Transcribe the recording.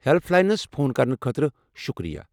Help lines phone کرنہٕ خٲطرٕ شکریہ۔